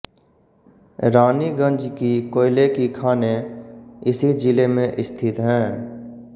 रानीगंज की कोयले की खानें इसी जिले में स्थित हैं